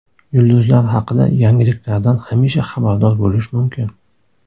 Yulduzlar haqida yangiliklardan hamisha xabardor bo‘lish mumkin.